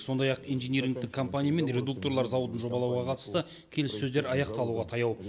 сондай ақ инжинирингтік компаниямен редукторлар зауытын жобалауға қатысты келіссөздер аяқталуға таяу